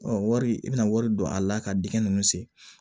wari i bɛna wari don a la ka dingɛ nunnu sen